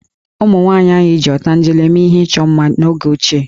Ụmụnwaanyị anyị ji ọtanjele mee ihe ịchọ mma n'oge ochie